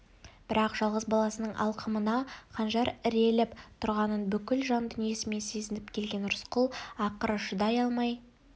бірақ жалғыз баласының алқымына қанжар іреліп тұрғанын бүкіл жан дүниесімен сезініп келген рысқұл ақыры шыдай алмай